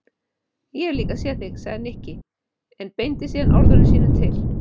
Ég hef líka séð þig sagði Nikki en beindi síðan orðum sínum til